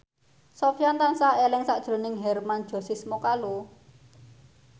Sofyan tansah eling sakjroning Hermann Josis Mokalu